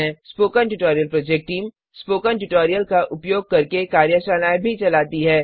spoken tutorial project team spoken tutorial का उपयोग करके कार्यशालाएँ भी चलाती है